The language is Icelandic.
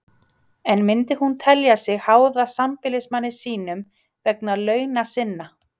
En myndi hún telja sig háða sambýlismanni sínum vegna launa sinna?